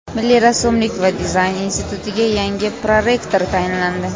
Milliy rassomlik va dizayn institutiga yangi prorektor tayinlandi.